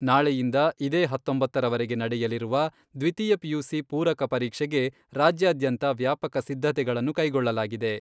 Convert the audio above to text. ನಾಳೆಯಿಂದ ಇದೇ ಹತ್ತೊಂಬತ್ತರವರೆಗೆ ನಡೆಯಲಿರುವ ದ್ವಿತೀಯ ಪಿಯುಸಿ ಪೂರಕ ಪರೀಕ್ಷೆಗೆ ರಾಜ್ಯಾದ್ಯಂತ ವ್ಯಾಪಕ ಸಿದ್ಧತೆಗಳನ್ನು ಕೈಗೊಳ್ಳಲಾಗಿದೆ.